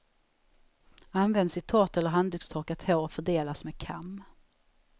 Används i torrt eller handdukstorkat hår och fördelas med kam.